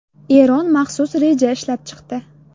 Eron maxsus reja ishlab chiqdi.